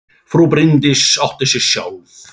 Frú Bryndís átti sig sjálf.